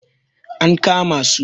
an kama su!